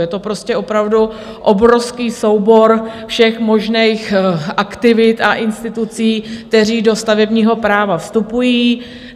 Je to prostě opravdu obrovský soubor všech možných aktivit a institucí, které do stavebního práva vstupují.